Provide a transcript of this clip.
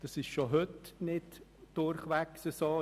Das ist schon heute nicht durchweg so.